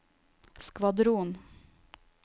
skvadron